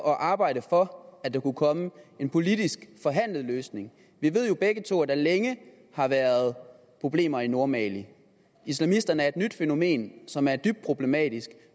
og arbejde for at der kunne komme en politisk løsning vi ved jo begge to at der længe har været problemer i nordmali islamisterne er et nyt fænomen som er dybt problematisk